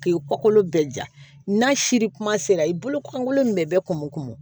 K'i kɔkɔ bɛɛ ja n'a siri kuma sera i bolo kolon min bɛɛ kumu kun